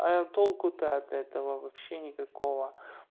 а толку-то от этого вообще никакого